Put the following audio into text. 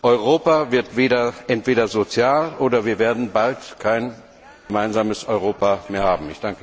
Europa wird entweder sozial, oder wir werden bald kein gemeinsames Europa mehr haben!